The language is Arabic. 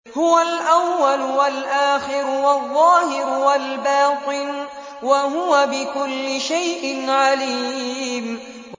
هُوَ الْأَوَّلُ وَالْآخِرُ وَالظَّاهِرُ وَالْبَاطِنُ ۖ وَهُوَ بِكُلِّ شَيْءٍ عَلِيمٌ